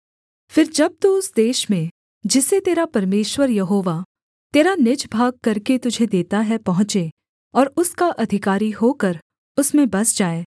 फिर जब तू उस देश में जिसे तेरा परमेश्वर यहोवा तेरा निज भाग करके तुझे देता है पहुँचे और उसका अधिकारी होकर उसमें बस जाए